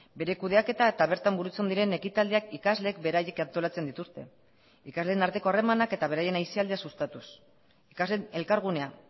bere kudeaketa eta bertan burutzen diren ekitaldiak ikasleek beraiek antolatzen dituzte ikasleen arteko harremanak eta beraien aisialdia sustatuz ikasleen elkargunea